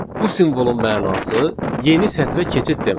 Bu simvolun mənası yeni sətrə keçid deməkdir.